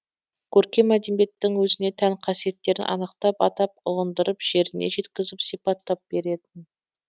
көркем әдебиеттің өзіне тән қасиеттерін анықтап атап ұғындырып жеріне жеткізіп сипаттап беретін